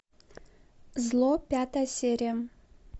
зло пятая серия